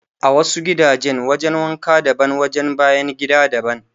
A wasu gidajen wajen wanka daban wajen bayan gida daban